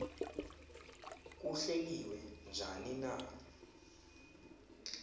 kuhleliwe njani na